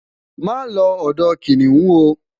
ma lo odò kiniun o